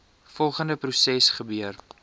volgende proses gebeur